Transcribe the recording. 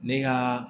Ne ka